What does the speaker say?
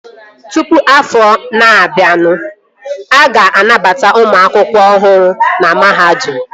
Tụpụ afọ na-abịanụ, a ga-anabata ụmụ akwụkwọ ọhụrụ na mahadum